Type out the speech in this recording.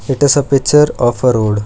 It is a picture of a road.